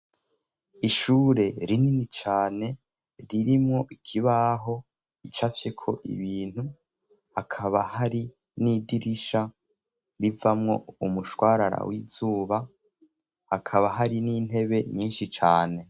Ishure rinini cane ririmwo ikibaho ico afyeko ibintu hakaba hari n'idirisha rivamwo umushwarara w'izuba hakaba hari n'intebe nyinshi cane.